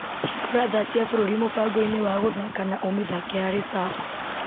Hingũra thaa cia bũrũri mũbango-inĩ wa gũthaka na ũmĩthake harĩ cafo.